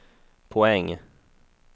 poäng